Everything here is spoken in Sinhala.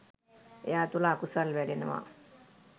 එයා තුළ අකුසල් වැඩෙනවා